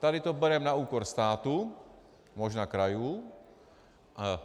Tady to bereme na úkor státu, možná krajů.